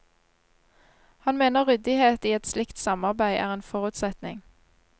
Han mener ryddighet i et slikt samarbeid er en forutsetning.